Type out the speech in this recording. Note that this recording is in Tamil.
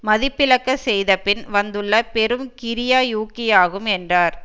மதிப்பிளக்க செய்த பின் வந்துள்ள பெரும் கிரியா ஊக்கியாகும் என்றார்